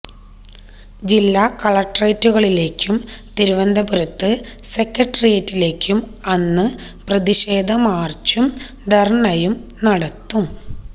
ജില്ലാ കളക്ട്രേറ്റുകളിലേയ്ക്കും തിരുവനന്തപുരത്ത് സെക്രട്ടേറിയേറ്റിലേയ്ക്കും അന്ന് പ്രതിഷേധ മാര്ച്ചും ധര്ണ്ണയും നടത്തും